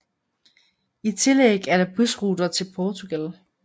I tillæg er der busruter til Portugal